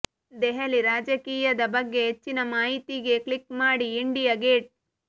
ದೆಹಲಿ ರಾಜಕೀಯದ ಬಗ್ಗೆ ಹೆಚ್ಚಿನ ಮಾಹಿತಿಗೆ ಕ್ಲಿಕ್ ಮಾಡಿ ಇಂಡಿಯಾ ಗೇಟ್